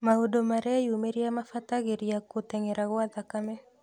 Maũndũ mareyumĩrĩa mabatagĩria gũtengera gwa thakame